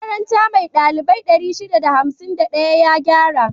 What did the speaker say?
Makaranta mai ɗalibai 651 ya gyara